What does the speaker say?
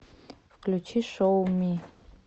включи шоу ми